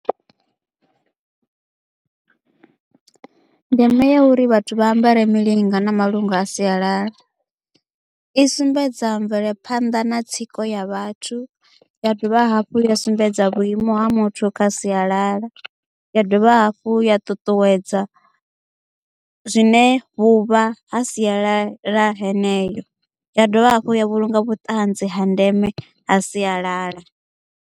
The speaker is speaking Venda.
Ndeme ya uri vhathu vha ambare milinga na malungu a sialala i sumbedza mvelephanḓa na tsiko ya vhathu ya dovha hafhu ya sumbedza ha muthu kha sialala ya dovha hafhu ya ṱuṱuwedza zwine vhuvha ha sialala heneyo ya dovha hafhu ya vhulunga vhutanzi ha ndeme ha sialala.